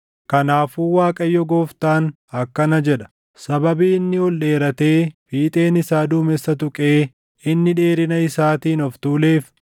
“ ‘Kanaafuu Waaqayyo Gooftaan akkana jedha: Sababii inni ol dheeratee fiixeen isaa duumessa tuqee inni dheerina isaatiin of tuuleef,